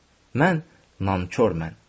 Mən nankor mən!